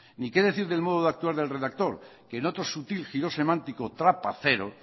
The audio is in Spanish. ni qué decir del modo de actuar del redactor que en otro sutil giro semántico trapacero